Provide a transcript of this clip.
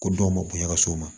Ko dɔw ma bonya ka s'o ma